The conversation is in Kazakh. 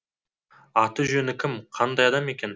аты жөні кім қандай адам екен